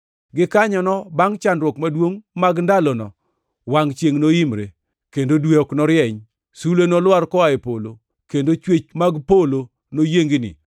“Gikanyono bangʼ chandruok maduongʼ mag ndalono, “ ‘wangʼ chiengʼ noimre, kendo dwe ok norieny; sulwe nolwar koa e polo, kendo chwech mag polo noyiengni.’ + 24:29 \+xt Isa 13:10; 34:4\+xt*